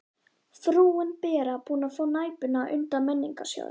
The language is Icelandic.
Frúin Bera búin að fá Næpuna undan Menningarsjóði.